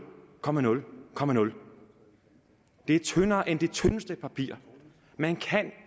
komma nul komma nul det er tyndere end det tyndeste papir man kan